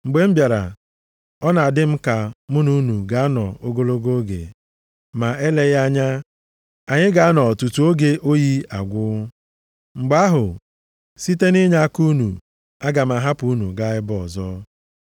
Mgbe m bịara, ọ na-adị m ka mụ na unu ga-anọ ogologo oge. Ma eleghị anya, anyị ga-anọ tutu oge oyi agwụ. Mgbe ahụ site, nʼinyeaka unu, aga m ahapụ unu gaa ebe ọzọ.